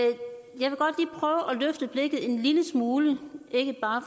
løfte blikket en lille smule og ikke bare